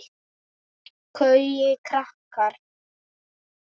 Gaui rakari.